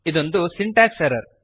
ಇದೊಂದು syntax error